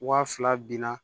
Waa fila binna